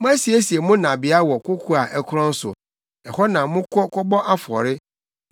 Moasiesie mo nnabea wɔ koko a ɛkorɔn so; ɛhɔ na mokɔ kɔbɔ afɔre.